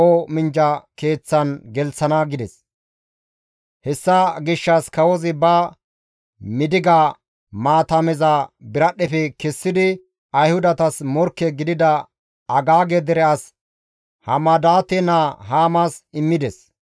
Hessa gishshas kawozi ba midiga maatameza biradhdhefe kessidi Ayhudatas morkke gidida Agaage dere as Hamadaate naa Haamas immides.